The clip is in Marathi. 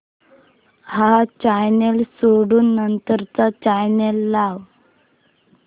हा चॅनल सोडून नंतर चा चॅनल लाव